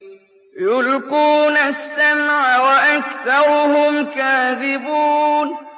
يُلْقُونَ السَّمْعَ وَأَكْثَرُهُمْ كَاذِبُونَ